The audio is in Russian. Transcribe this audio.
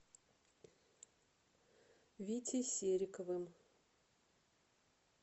витей сериковым